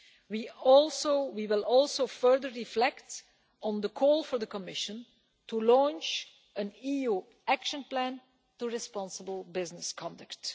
We will also further reflect on the call for the Commission to launch an EU action plan on responsible business conduct.